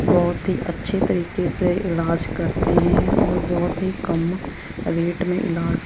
बहोत ही अच्छे तरीके से इलाज करते हैं और बहोत ही कम रेट में इलाज--